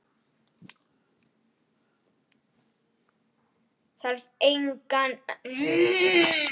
Þarf engan að undra það.